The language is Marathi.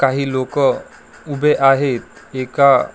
काही लोकं उभे आहेत. एका--